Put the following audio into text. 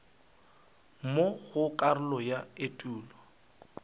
mo go karolo ya etulo